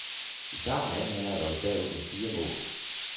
I starten af anden halvleg var vi bagud med fire mål.